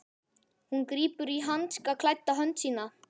Hún grípur um hanskaklædda hönd mína.